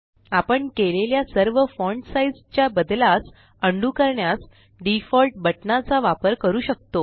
आपण केलेल्या सर्व फॉण्ट साइज़ च्या बद्लास अंडू करण्यास डिफॉल्ट बटना चा वापर करू शकतो